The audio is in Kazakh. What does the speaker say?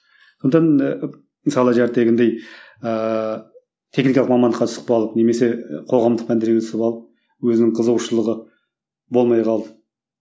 сондықтан ы мысалы ыыы техникалық мамандыққа түсіп қалып немесе қоғамдық пәндерге түсіп алып өзінің қызығушылығы болмай қалды